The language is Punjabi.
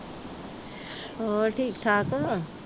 ਹੋਰ ਠੀਕ-ਠਾਕ।